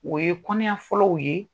O ye kɔnɔɲa fɔlɔw ye.